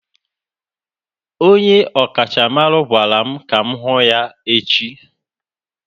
Onye ọkachamara gwara m ka m hụ ya echi